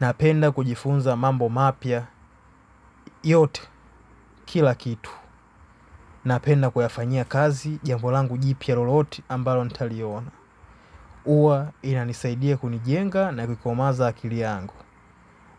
Napenda kujifunza mambo mapya yote kila kitu. Napenda kuyafanya kazi jambo langu jipia lolote ambalo nitaliona. Huwa inanisaidia kunijenga na kuikomaza akili yangu.